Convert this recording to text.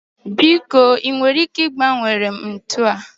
biko ị nwere ike ịgbanwere m ntu a?